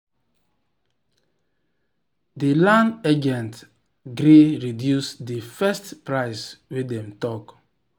the land agent gree reduce the first price wey dem talk.